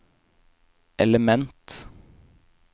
element